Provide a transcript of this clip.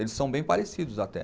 Eles são bem parecidos até.